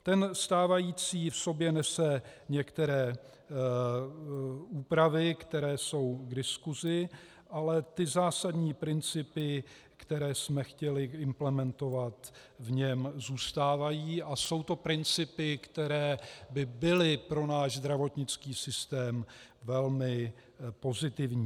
Ten stávající v sobě nese některé úpravy, které jsou k diskusi, ale ty zásadní principy, které jsme chtěli implementovat, v něm zůstávají a jsou to principy, které by byly pro náš zdravotnický systém velmi pozitivní.